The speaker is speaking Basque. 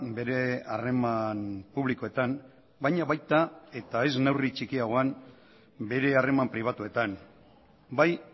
bere harreman publikoetan baina baita eta ez neurri txikiagoan bere harreman pribatuetan bai